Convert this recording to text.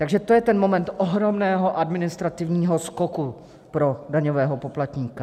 Takže to je ten moment ohromného administrativního skoku pro daňového poplatníka.